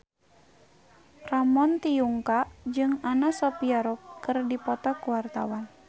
Ramon T. Yungka jeung Anna Sophia Robb keur dipoto ku wartawan